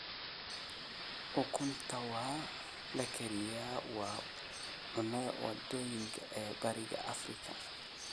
Ukunta la kariyey waa cunnada waddooyinka ee Bariga Afrika